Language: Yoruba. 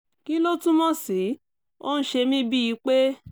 kí ló túmọ̀ sí? ó ń ṣe mí bíi pé